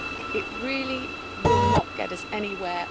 It really will not get us anywhere.